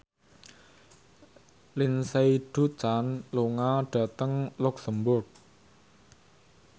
Lindsay Ducan lunga dhateng luxemburg